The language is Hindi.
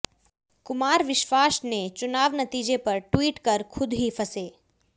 कुमार विश्वास ने चुनाव नतीजे पर ट्वीट कर खुद ही फसे